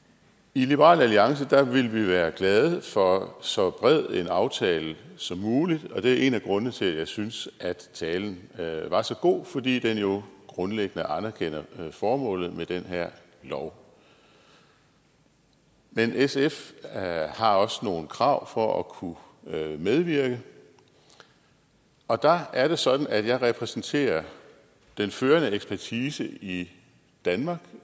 i liberal alliance vil vi være glade for så bred en aftale som muligt og det er en af grundene til at jeg synes at talen var så god fordi den jo grundlæggende anerkender formålet med den her lov men sf har også nogle krav for at kunne medvirke og der er det sådan at jeg repræsenterer den førende ekspertise i danmark